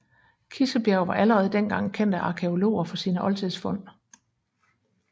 Kissebjerg var allerede dengang kendt af arkæologer for sine oldtidsfund